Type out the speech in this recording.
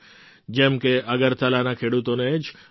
જેમ કે અગરતલાના ખેડૂતોને જ લો